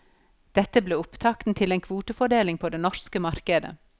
Dette ble opptakten til en kvotefordeling på det norske markdet.